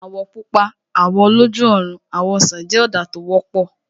Àwọ̀ Pupa, àwọ̀ oloju ọrùn, àwọ̀ ọsàn jẹ́ ọ̀dà tó wọ́pọ̀